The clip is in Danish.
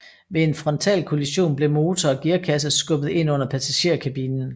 Ved en frontalkollision blev motor og gearkasse skubbet ind under passagerkabinen